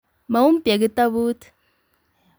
Maumpya kitabut ---